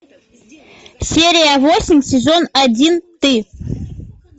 серия восемь сезон один ты